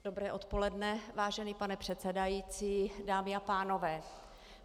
Dobré odpoledne, vážený pane předsedající, dámy a pánové.